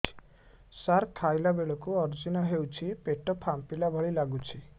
ସାର ଖାଇଲା ବେଳକୁ ଅଜିର୍ଣ ହେଉଛି ପେଟ ଫାମ୍ପିଲା ଭଳି ଲଗୁଛି